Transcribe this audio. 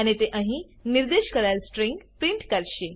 અને તે અહી નિર્દેશ કરાયેલ સ્ટ્રીંગ પ્રિન્ટ કરશે